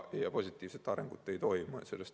Ja positiivset arengut ei toimu.